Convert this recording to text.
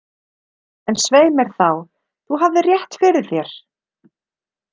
En svei mér þá, þú hafðir rétt fyrir þér.